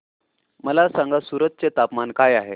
मला सांगा सूरत चे तापमान काय आहे